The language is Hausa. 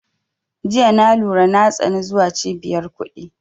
Jiya na lura na tsani zuwa cibiyar kuɗi